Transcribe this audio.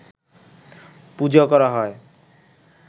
পূজা করা হয়